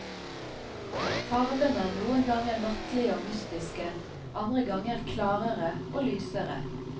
Farvene er noen ganger nattlige og mystiske, andre ganger klarere og lysere.